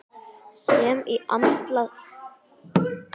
sem í andarslitrunum vildi að heimurinn færist með honum.